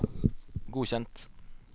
godkjent